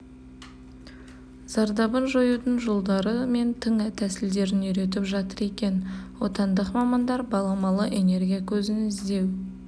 зардабын жоюдың жолдары мен тың тәсілдерін үйретіп жатыр екен отандық мамандар баламалы энергия көзін іздеу